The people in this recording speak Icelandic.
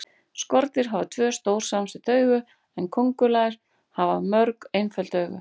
Skordýr hafa tvö, stór samsett augu en kóngulær hafa mörg, einföld augu.